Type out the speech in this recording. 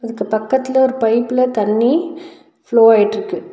இதுக்கு பக்கத்ல ஒரு பைப்ல தண்ணி ஃப்லோ ஆயிட்ருக்கு.